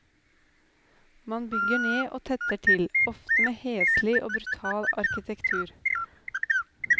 Man bygger ned og tetter til, ofte med heslig og brutal arkitektur.